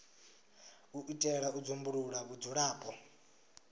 u itela u dzumbulula vhudzulapo